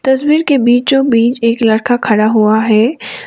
तस्वीर के बीचों बीच एक लड़का खड़ा हुआ है।